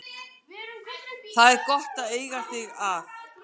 Það er gott að eiga þig að.